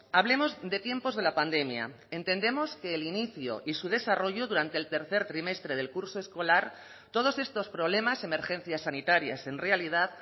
hablemos de tiempos de la pandemia entendemos que el inicio y su desarrollo durante el tercer trimestre del curso escolar todos estos problemas emergencias sanitarias en realidad